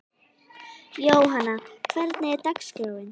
Jóanna, hvernig er dagskráin?